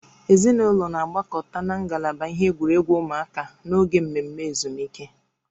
Ezinụlọ na-agbakọta na ngalaba ihe egwuregwu ụmụaka n'oge mmemme ezumike